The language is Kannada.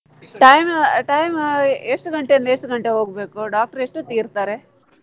Time time ಎಷ್ಟು ಗಂಟೆಯಿಂದ ಎಷ್ಟು ಗಂಟೆಗೆ ಹೋಗ್ಬೇಕು doctor ಎಷ್ಟು ಹೊತ್ತಿಗೆ ಇರ್ತಾರೆ?